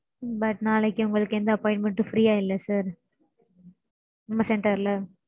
But நாளைக்கு உங்களுக்கு எந்த appointment உம் free ஆ இல்ல sir நம்ம center ல.